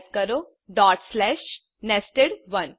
type કરો nested1